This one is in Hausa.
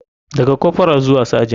Daga corporal zuwa sergent.